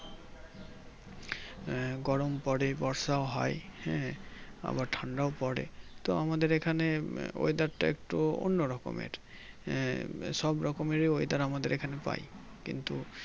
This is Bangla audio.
গরম পরে বর্ষা ও হয় হ্যাঁ আবার ঠান্ডাও পরে তো আমাদের এই খানে Weather তা একটু অন্য রকমের আহ সব রকমের Weather আমাদের এইখানে পাই কিন্তু